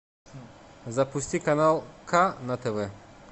запусти канал к на тв